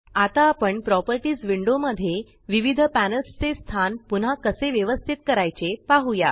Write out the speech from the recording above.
आता आपण properties window मध्ये विविध पॅनल्स चे स्थान पुन्हा कसे व्यवस्तीत करायचे पाहुया